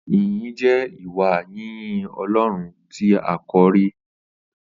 Ìyín jẹ Ìwá yinyin ọlọrún tí àkọrí